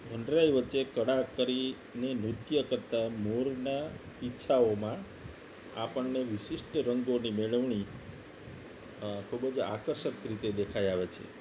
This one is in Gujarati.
વનરાય વચ્ચે કળા કરી ને નૃત્ય કરતા મોરના પીછાઓ માં આપણને વિશિષ્ટ રંગોની મેળવણી ખૂબ જ આકર્ષક રીતે દેખાઈ આવે છે